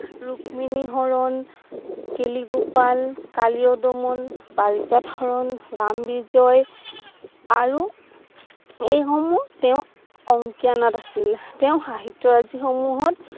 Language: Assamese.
ৰুক্মিণী হৰণ, কেলিগোপাল, কালীয় দমন, ৰাম বিজয় আৰু এই সমূহ তেওঁ অংকীয়া নাট আছিল তেওঁ সাহিত্যৰাজি সমূহত